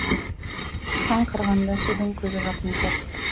соған қарағанда судың көзі жақын тәрізді